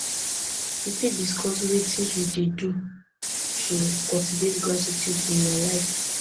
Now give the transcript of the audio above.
you fit discuss wetin you dey do to cultivate gratitude in your life